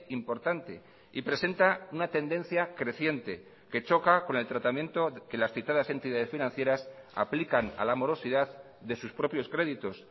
importante y presenta una tendencia creciente que choca con el tratamiento que las citadas entidades financieras aplican a la morosidad de sus propios créditos